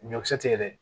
Ɲɔkisɛ tɛ dɛ